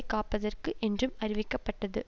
காப்பதற்கு என்றும் அறிவிக்கப்பட்டது